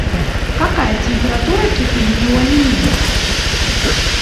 какая температура кипения у алюминий